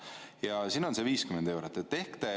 Ja siin on see 50 eurot.